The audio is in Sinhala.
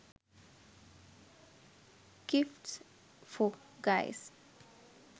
gifts for guys